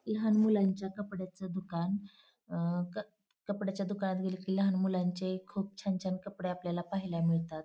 लहान मुलांच्या कपड्याच दुकान अ कपड्यांच्या दुकानात खूप छान छान कपडे आपल्याला पाहायला मिळतात.